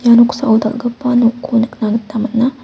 ia noksao dal·gipa nokko nikna gita man·a.